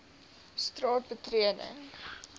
straat betreding dobbel